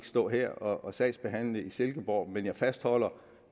stå her og sagsbehandle i silkeborg men jeg fastholder